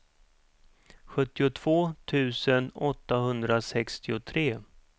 sjuttiotvå tusen åttahundrasextiotre